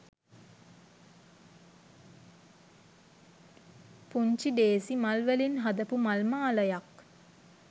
පුංචි ඬේසි මල් වලින් හදපු මල් මාලයක්.